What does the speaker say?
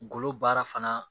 Golo baara fana